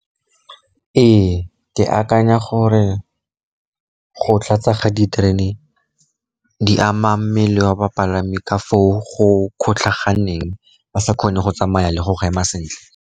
Ee, ke akanya gore go tlatsa ga diterene di ama mmele wa bapalami ka foo go kgotlhaganeng, ba sa kgone go tsamaya le go ema sentle.